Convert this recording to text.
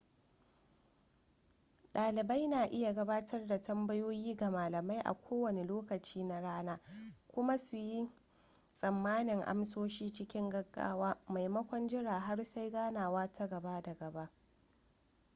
dalibai na iya gabatar da tambayoyi ga malamai a kowane lokaci na rana kuma suyi tsammanin amsoshi cikin gaggawa maimakon jiran har sai ganawa ta gaba da gaba